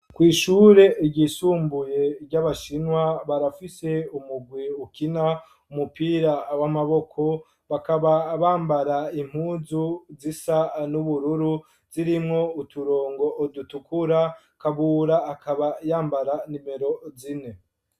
Kw'ishure igisumbuye ry'abashinwa barafise umugwi ukina umupira w'amaboko bakaba bambara impuzu zisa n'ubururu zirimwo uturongo udutukura kabura akaba yambara nimero zine.